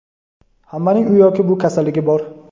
Hammaning u yoki bu kasalligi bor.